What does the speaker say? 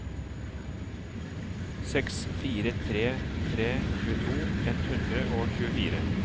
seks fire tre tre tjueto ett hundre og tjuefire